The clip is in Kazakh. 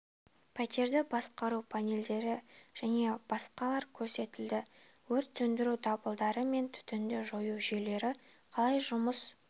пәтерді басқару панельдері және басқалар көрсетілді өрт сөндіру дабылдары мен түтінді жою жүйелері қалай жұмыс